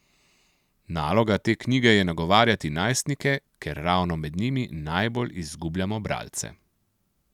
Naloga te knjige je nagovarjati najstnike, ker ravno med njimi najbolj izgubljamo bralce.